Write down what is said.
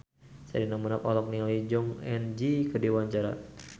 Sherina Munaf olohok ningali Jong Eun Ji keur diwawancara